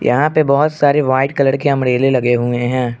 यहां पे बहोत सारे व्हाइट कलर के अंब्रेले लगे हुए हैं।